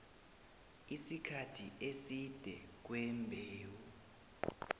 isikhathi eside kwembewu